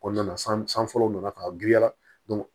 O nana san san fɔlɔ nana ka giriya